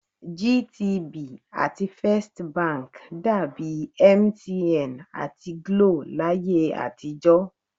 GTB àti First Bank dàbi MTN àti GLO láyé àtijọ́